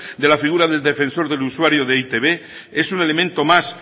de la figura del defensor del usuario de etb es un elemento más